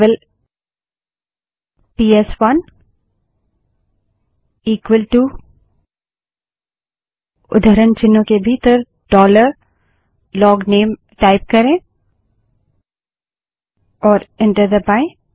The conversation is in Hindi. केवल पीएसवनबड़े अक्षर में इक्वल टू उद्धरण चिन्हों के भीतर डॉलर लोगनेल टाइप करें और एंटर दबायें